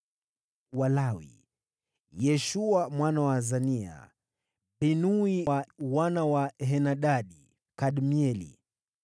Walawi: Yeshua mwana wa Azania, Binui wa wana wa Henadadi, Kadmieli,